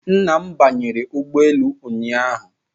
Nna m banyere ụgbọ elu ụnyahụ